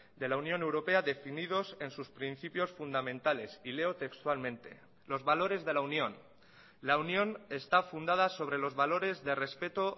de la unión europea definidos en sus principios fundamentales y leo textualmente los valores de la unión la unión está fundada sobre los valores de respeto